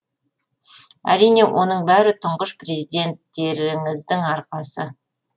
әрине оның бәрі тұңғыш президенттеріңіздің арқасы